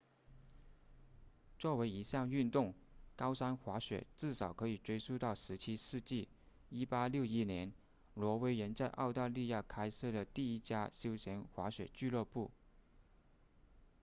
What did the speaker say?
作为一项运动高山滑雪至少可以追溯到17世纪1861年挪威人在澳大利亚开设了第一家休闲滑雪俱乐部